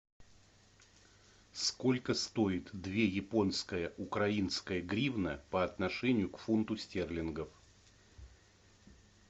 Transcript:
сколько стоит две японская украинская гривна по отношению к фунту стерлингов